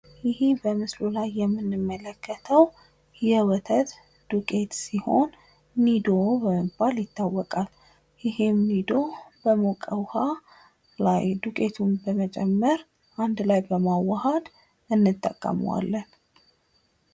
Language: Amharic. ይህ በምስሉ ላይ የምንመለከተው የወተት ዱቄት ሲሆን ኒዶ በመባል ይታወቃል ።ይህም ኒዶ በሞቀ ውሃ ላይ ዱቄቱን በመጨመር አንድ ላይ በማዋሀድ እንጠቀመዋለን ።